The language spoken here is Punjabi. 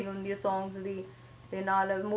ਬਹੁਤ recording ਹੁੰਦੀ ਆ ਹਾਂਜੀ ਹਾਂਜੀ songs ਵੀ ਤੇ ਨਾਲ movies